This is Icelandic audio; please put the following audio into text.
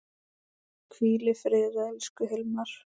Hvíl í friði, elsku Hilmar.